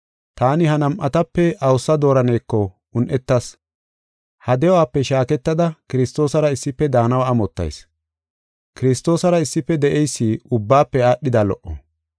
Taani ha nam7atape awusa dooraneko un7etas. Ha de7uwape shaaketada Kiristoosara issife daanaw amottayis; Kiristoosara issife de7eysi ubbaafe aadhida lo77o.